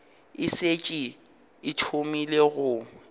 e šetše e thomile go